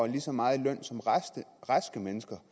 lige så meget i løn som raske mennesker